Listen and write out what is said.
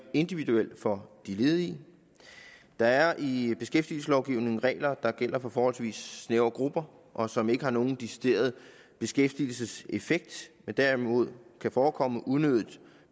individuel for de ledige der er i beskæftigelseslovgivningen regler der gælder for forholdsvis snævre grupper og som ikke har nogen decideret beskæftigelseseffekt men derimod kan forekomme unødig